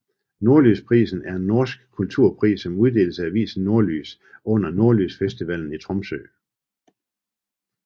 Nordlysprisen er en norsk kulturpris som uddeles af avisen Nordlys under Nordlysfestivalen i Tromsø